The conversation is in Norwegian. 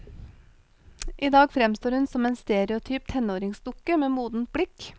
Idag fremstår hun som en stereotyp tenåringsdukke med modent blikk.